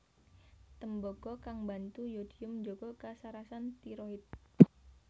Tembaga kang mbantu yodium njaga kasarasan tiroid